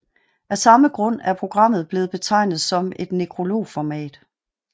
Af samme grund er programmet blevet betegnet som et nekrologformat